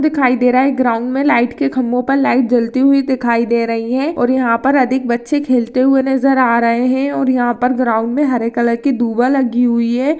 दिखाई दे रहा है ग्राउंड में लाइट के खंबो पर लाइट जलती हुई दिखाई दे रही है और यहाँ पर अधिक बच्चे खेलते हुए नजर आ रहे है और यहाँ पर ग्राउंड में हरे कलर की दूर्वा लगी हुई है।